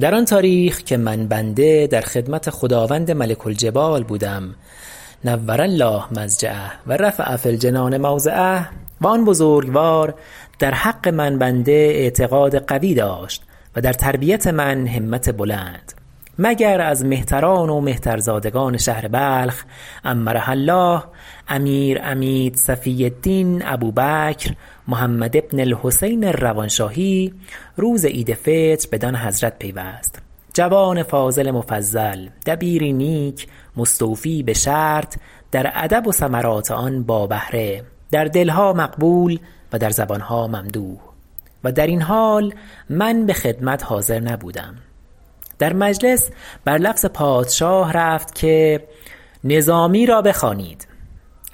در آن تاریخ که من بنده در خدمت خداوند ملک الجبال بودم نور الله مضجعه و رفع فی الجنان موضعه و آن بزرگوار در حق من بنده اعتقاد قوی داشت و در تربیت من همت بلند مگر از مهتران و مهترزادگان شهر بلخ عمرها الله امیر عمید صفی الدین ابوبکر محمد بن الحسین الروانشاهی روز عید فطر بدان حضرت پیوست جوان فاضل مفضل دبیری نیک مستوفی بشرط در ادب و ثمرات آن با بهره در دلها مقبول و در زبانها ممدوح و درین حال من بخدمت حاضر نبودم در مجلس بر لفظ پادشاه رفت که نظامی را بخوانید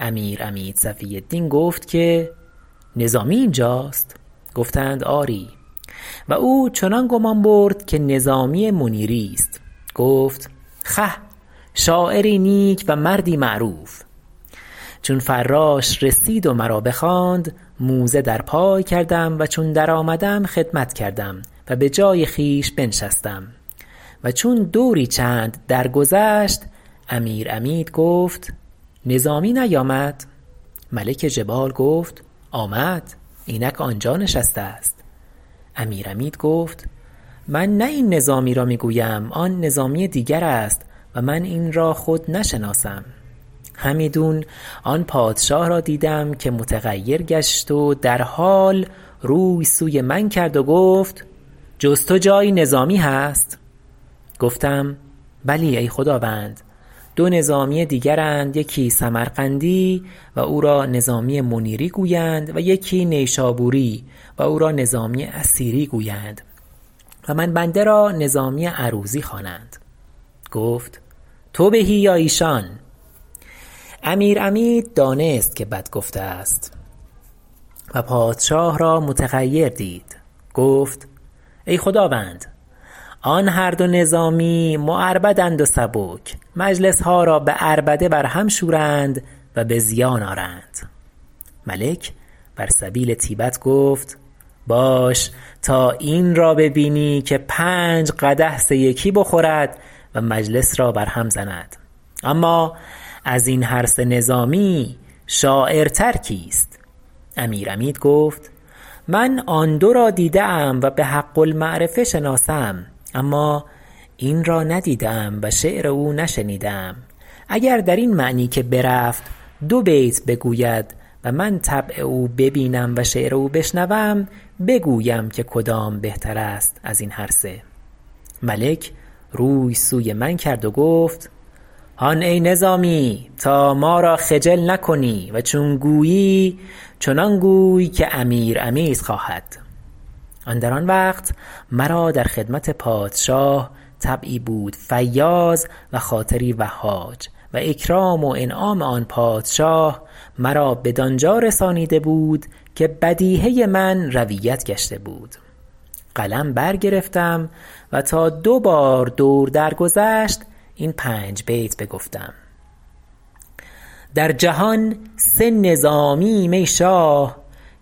امیر عمید صفی الدین گفت که نظامی اینجاست گفتند که آری و او چنان گمان برد که نظامی منیری است گفت خه شاعری نیک و مردی معروف چون فراش رسید و مرا بخواند موزه در پای کردم و چون درآمدم خدمت کردم و بجای خویش بنشستم و چون دوری چند درگذشت امیر عمید گفت نظامی نیامد ملک جبال گفت آمد اینک آنجا نشسته است امیر عمید گفت من نه این نظامی را می گویم آن نظامی دیگرست و من این را خود نشناسم همیدون آن پادشاه را دیدم که متغیر گشت و در حال روی سوی من کرد و گفت جز تو جایی نظامی هست گفتم بلی ای خداوند دو نظامی دیگراند یکی سمرقندی است و او را نظامی منیری گویند و یکی نیشابوری و او را نظامی اثیری گویند و من بنده را نظامی عروضی خوانند گفت تو بهی یا ایشان امیر عمید دانست که بد گفته است و پادشاه را متغیر دید گفت ای خداوند آن هر دو نظامی معربدند و سبک مجلسها را بعربده بر هم شورند و بزیان آرند ملک بر سبیل طیبت گفت باش تا این را ببینی که پنج قدح سه یکی بخورد و مجلس را بر هم زند اما ازین هر سه نظامی شاعرتر کیست امیر عمید گفت من آن دو را دیده ام و بحق المعرفه شناسم اما این را ندیده ام و شعر او نشنیده ام اگر درین معنی که برفت دو بیت بگوید و من طبع او ببینم و شعر او بشنوم بگویم که کدام بهتر است ازین هر سه ملک روی سوی من کرد و گفت هان ای نظامی تا ما را خجل نکنی و چون گویی چنان گوی که امیر عمید خواهد اندر آن وقت مرا در خدمت پادشاه طبعی بود فیاض و خاطری وهاج و اکرام و انعام آن پادشاه مرا بدانجا رسانیده بود که بدیهه من رویت گشته بود قلم برگرفتم و تا دو بار دور درگذشت این پنج بیت بگفتم در جهان سه نظامیییم ای شاه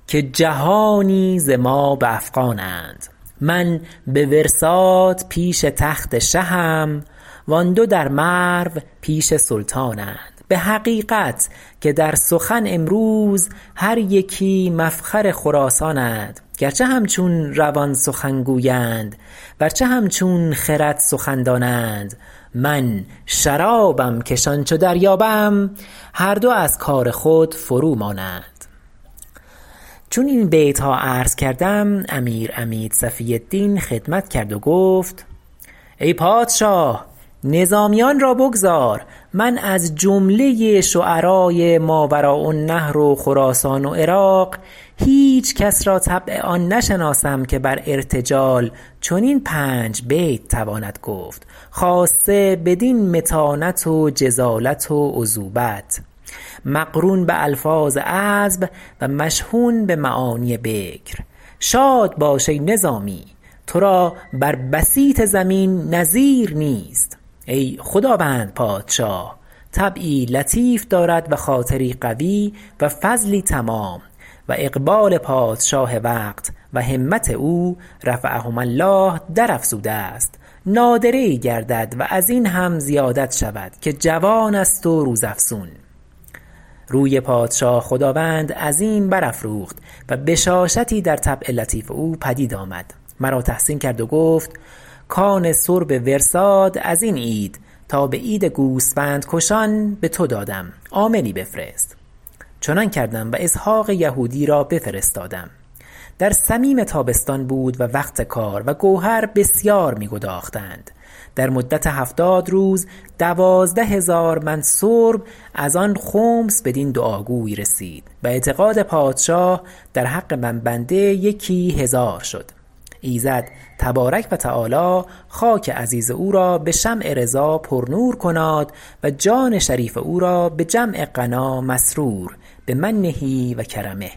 که جهانی ز ما به افغانند من به ورساد پیش تخت شهم و آن دو در مرو پیش سلطانند به حقیقت که در سخن امروز هر یکی مفخر خراسانند گرچه همچون روان سخن گویند ورچه همچون خرد سخن دانند من شرابم که شان چو دریابم هر دو از کار خود فرو مانند چون این بیتها عرض کردم امیر عمید صفی الدین خدمت کرد و گفت ای پادشاه نظامیان را بگذار من از جمله شعراء ماوراءالنهر و خراسان و عراق هیچ کس را طبع آن نشناسم که بر ارتجال چنین پنج بیت تواند گفت خاصه بدین متانت و جزالت و عذوبت مقرون بالفاظ عذب و مشحون بمعانی بکر شاد باش ای نظامی ترا بر بسیط زمین نظیر نیست ای خداوند پادشاه طبعی لطیف دارد و خاطری قوی و فضلی تمام و اقبال پادشاه وقت و همت او رفعهما الله در افزوده است نادره ای گردد و ازین هم زیادت شود که جوان است و روز افزون روی پادشاه خداوند عظیم برافروخت و بشاشتی در طبع لطیف او پدید آمد مرا تحسین کرد و گفت کان سرب ورساد ازین عید تا بعید گوسفند کشان بتو دادم عاملی بفرست چنان کردم و اسحق یهودی را بفرستادم در صمیم تابستان بود و وقت کار و گوهر بسیار می گداختند در مدت هفتاد روز دوازده هزار من سرب از آن خمس بدین دعاگوی رسید و اعتقاد پادشاه در حق من بنده یکی هزار شد ایزد تبارک و تعالی خاک عزیز او را بشمع رضا پرنور کناد و جان شریف او را بجمع غنا مسرور بمنه و کرمه